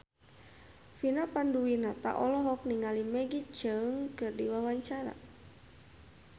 Vina Panduwinata olohok ningali Maggie Cheung keur diwawancara